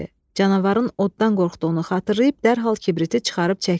Canavarın oddan qorxduğunu xatırlayıb dərhal kibriti çıxarıb çəkdi.